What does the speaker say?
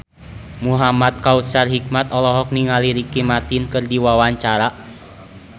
Muhamad Kautsar Hikmat olohok ningali Ricky Martin keur diwawancara